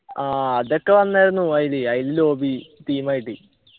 ആഹ് അതൊക്കെ വന്നാർന്നു അയില് അയിൽ lobby theme ആയിട്ട്